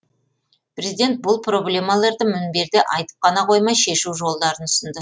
президент бұл проблемаларды мінберде айтып қана қоймай шешу жолдарын ұсынды